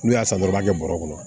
N'u y'a san dɔrɔn u b'a kɛ bɔrɔ kɔnɔ